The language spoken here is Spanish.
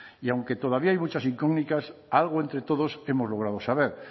y aunque todavía hay muchas incógnitas algo entre todos hemos logrado saber